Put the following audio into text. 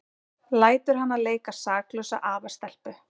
Lætur hana leika saklausa afastelpu.